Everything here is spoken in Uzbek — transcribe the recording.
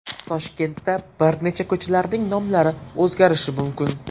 Toshkentda bir necha ko‘chalarning nomlari o‘zgarishi mumkin.